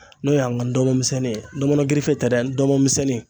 N'o ye an ka dɔnmɔn misɛnnin ye ndɔmɔnɔ girife tɛ dɛ ndɔnmɔn misɛnnin